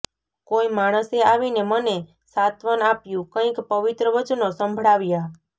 કોઈ માણસે આવીને મને સાંત્વન આપ્યું કંઈક પવિત્ર વચનો સંભળાવ્યાં